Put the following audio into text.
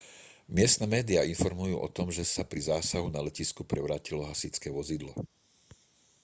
miestne médiá informujú o tom že sa pri zásahu na letisku prevrátilo hasičské vozidlo